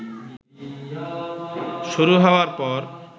শুরু হওয়ার পর